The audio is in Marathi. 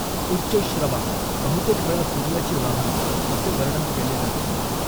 उच्चैःश्रवा बहुतेक वेळा सूर्याचे वाहन असे वर्णन केले जाते.